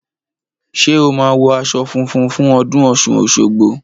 Ṣé o máa wọ aṣọ funfun fún ọdún ọ̀ṣun òṣogbo?